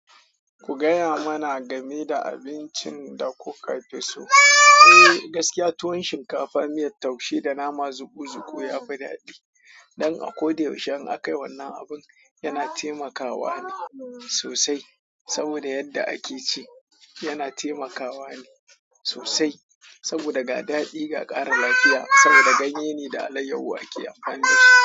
Ku gaya mana game da abincin da kuka fi so. Eh, gaskiya tuwon shinkafa, miyar taushe da nama zuku zuku yafi daɗi. Don a ko da yaushe in akayi wannan abun yana taimakawa ne sosai. Saboda yadda ake ci, yana taimakawa ne sosai saboda ga daɗi ga ƙara lafiya saboda ganye ne da alayyahu ake amfani dashi.